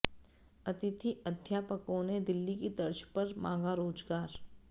अतिथि अध्यापकों ने दिल्ली की तर्ज पर मांगा रोजगार